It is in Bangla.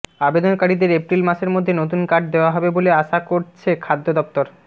আবেদনকারীদের এপ্রিল মাসের মধ্যে নতুন কার্ড দেওয়া হবে বলে আশা করছে খাদ্য দফতর